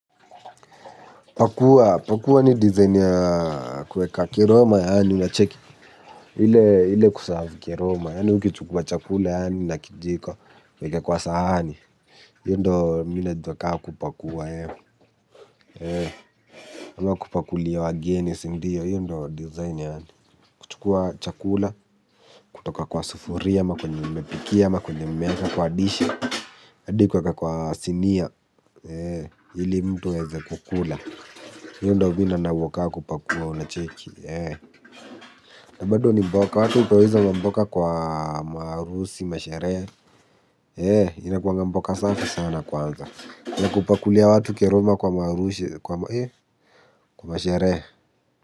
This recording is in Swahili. Pakua, pakua ni dizaini ya kuweka kiroma yani, unacheki, ile ile kusavu kiroma yani, ukichukua chakula yani, na kijiko, uweke kwa sahani, iyo ndio mimi najua kama kupakua, kama kupakulia wageni si ndiyo, iyo ndio dizaini yani, kuchukua chakula, kutoka kwa sufuria ama, kwenye mmepikia ama, kwenye mmeweka kwa dishi, hadi kuweka kwa sinia, ili mtu aweze kukula, iyo ndio mimi naona kaa kupakua unacheki. Bado ni mboka watu upoweza mboka kwa maharusi masherehe. Inakuanga mboka safi sana kwanza. Na kupakulia watu keroma kwa maharusi. Kwa masherehe.